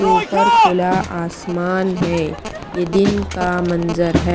ऊपर खुला आसमान है ये दिन का मंजर है।